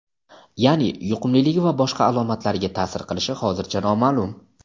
ya’ni yuqumliligi va boshqa alomatlariga ta’sir qilishi hozircha noma’lum.